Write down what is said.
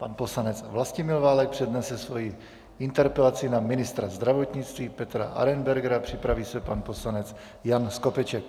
Pan poslanec Vlastimil Válek přednese svoji interpelaci na ministra zdravotnictví Petra Arenbergera, připraví se pan poslanec Jan Skopeček.